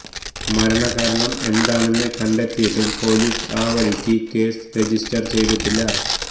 മരണകാരണം എന്താണെന്ന് കണ്ടെത്തിയിട്ടും പോലീസ് ആ വഴിക്ക് കേസ് രജിസ്റ്റര് ചെയ്തിട്ടില്ല